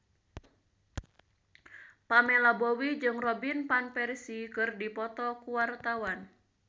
Pamela Bowie jeung Robin Van Persie keur dipoto ku wartawan